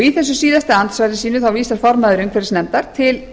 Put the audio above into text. í þessu síðasta andsvari sínu vísar formaður umhverfisnefndar til